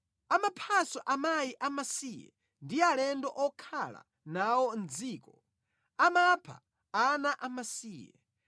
Amaphanso amayi a masiye ndi alendo okhala nawo mʼdziko; amapha ana amasiye.